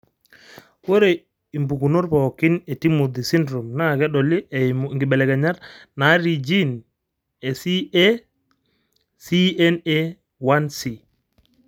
ore impukunot pooki e Timothy syndrome naa kedoli eimu inkibelekenyat naatii gene e CACNA1C.